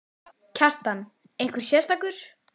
Kjartan: Einhver sérstakur?